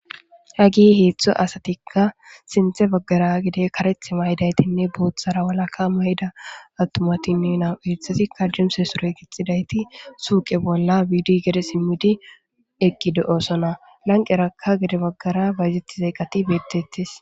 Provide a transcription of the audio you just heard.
ha gi heetztho asatikka sinthe baggara gide kareth maydaytinne boothara walaka may7ida attumatinne nawu eethasi kadumse soroy gixxidayti suuqe bolla wiidi gede simmidi eqqide7osona lanqerakka gede baggara bayzetti zayqati beettettis